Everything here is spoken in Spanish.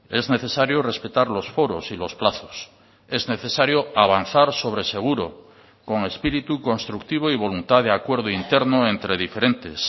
es necesario respetar los foros y los plazos es necesario avanzar sobre seguro con espíritu constructivo y voluntad d acuerdo interno entre diferentes